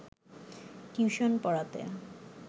tuition পড়াতে